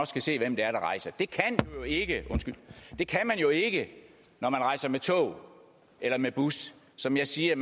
se hvem det er der rejser det kan man jo ikke når man rejser med tog eller med bus som jeg siger